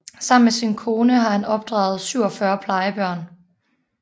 Sammen med sin kone har han opdraget 47 plejebørn